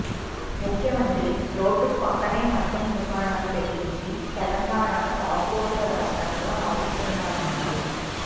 ముఖ్యమంత్రి రోడ్డుకు పక్కనే మద్యం దుకాణాలు పెట్టించి తెలంగాణను తాగుబోతుల రాష్ట్రంగా మారుస్తున్నారన్నారు